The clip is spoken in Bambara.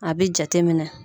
A bi jate minɛ.